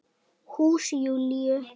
Hús Júlíu.